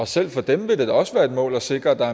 selv for dem vil det da også være et mål at sikre at der